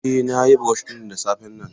Eh nayi brush ɗin da safen nan.